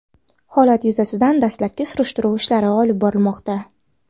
Holat yuzasidan dastlabki surishtiruv ishlari olib borilmoqda.